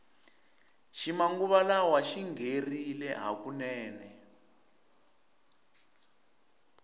xi manguva lawa xingherile hukunene